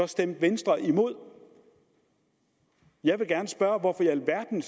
stemte venstre imod jeg vil gerne spørge hvorfor i alverden